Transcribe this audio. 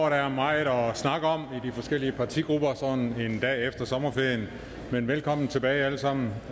at der er meget at snakke om i de forskellige partigrupper sådan en dag efter sommerferien men velkommen tilbage alle sammen